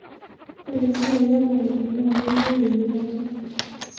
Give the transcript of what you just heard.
ore esiai emukunta naa keyieu enyuata